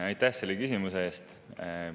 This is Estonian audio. Aitäh selle küsimuse eest!